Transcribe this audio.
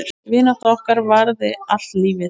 Vinátta okkar varaði allt lífið.